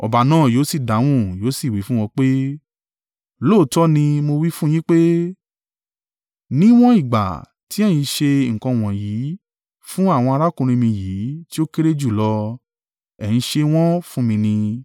“Ọba náà yóò sì dáhùn yóò sì wí fún wọn pé, ‘Lóòótọ́ ni mo wí fún yín pé níwọ̀n ìgbà tí ẹ̀yin ṣe nǹkan wọ̀nyí fún àwọn arákùnrin mi yìí tí o kéré jú lọ, ẹ̀ ń ṣe wọn fún mi ni.’